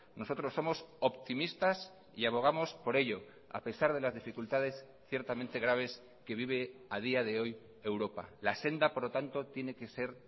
nosotros somos optimistas y abogamos por ello a pesar de las dificultades ciertamente graves que vive a día de hoy europa la senda por lo tanto tiene que ser